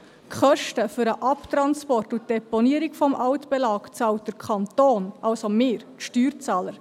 Die Kosten für den Abtransport und die Deponierung des Altbelags bezahlt der Kanton, also wir, die Steuerzahler.